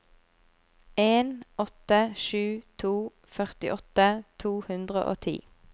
en åtte sju to førtiåtte to hundre og ti